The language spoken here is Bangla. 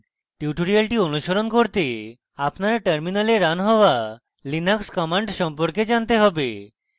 tutorial অনুসরণ করতে আপনার terminal running হওয়া linux commands সম্পর্কে জানতে have